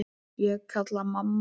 Ég kalla: Mamma!